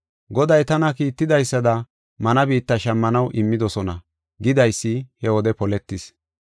Goday tana kiitidaysada mana biitta shammanaw immidosona” gidaysi he wode poletis.